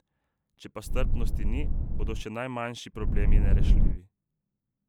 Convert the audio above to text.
Če pa strpnosti ni, bodo še najmanjši problemi nerešljivi.